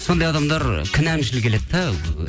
сондай адамдар кінәмшіл келеді де